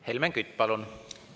Helmen Kütt, palun!